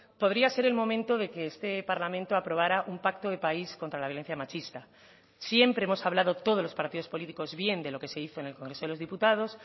podría ser el momento de que este parlamento aprobara un pacto de país contra la violencia machista siempre hemos hablado todos los partidos políticos bien de lo que se hizo en el congreso de los diputados